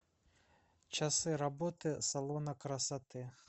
часы работы салона красоты